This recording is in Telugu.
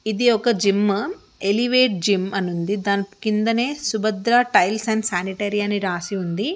ఇధి ఒక జిమ్ ఎలివేట్ జిమ్ అని ఉంది ధాని కిందనే సుభద్ర టైల్స్ అండ్ స్యానిటరి అని రాసి ఉంది.